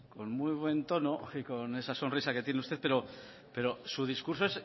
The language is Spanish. con muy buen tono y con esa sonrisa que tiene usted pero su discurso